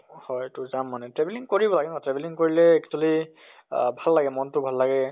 হয় তʼ যাম মানে। travelling কৰি ভাল ন, travelling কৰিলে actually আহ ভাল লাগে মন টো ভাল লাগে।